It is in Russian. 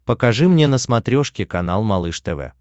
покажи мне на смотрешке канал малыш тв